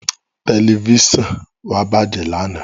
Tẹ̀lifísàn wa bájẹ̀ lánàá